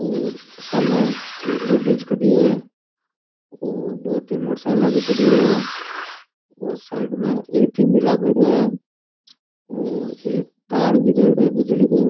और सामने एक लेडीज खड़ी है और दो तीन मोटरसाइकिला भी खड़ी है और साइड में ए.टी.एम. भी लागेड़ो है और एक तार भी गयोड़ो है बिजली को।